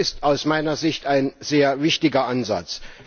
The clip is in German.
Das ist aus meiner Sicht ein sehr wichtiger Ansatz.